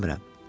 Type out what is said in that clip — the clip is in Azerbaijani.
İstəmirəm.